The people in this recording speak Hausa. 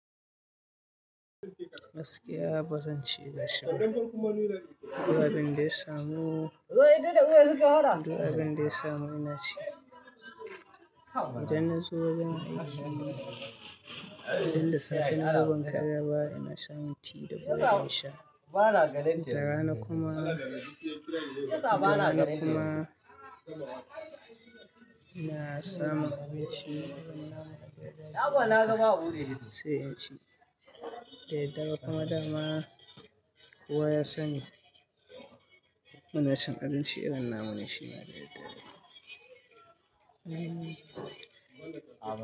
Gaskiya ba zan ci da shi ba. Duk abunda ya samo, duk abunda ya samu ina ci. Idan na zo wajen aiki, idan da safe na zo ban karya ba ina shan tea da bredi insha. Da rana kuma, da rana kuma ina samun abinci irin namu na gyaɗa sai in ci. Da daddare kuma dama kowa ya sani munacin abinci irin namu ne shi ma da daddare.